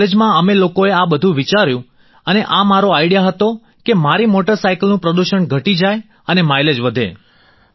અને કોલેજમાં અમે લોકોએ આ બધું વિચાર્યું અને આ મારો આઈડિયા હતો કે મારી મોટરસાયકલનું પ્રદૂષણ ઘટી જાય અને માઈલેજ વધે